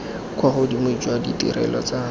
kwa godimo jwa ditirelo tsa